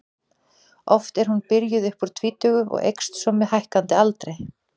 Oft er hún byrjuð upp úr tvítugu og eykst svo með hækkandi aldri.